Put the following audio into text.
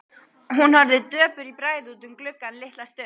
Hún horfði döpur í bragði út um gluggann litla stund.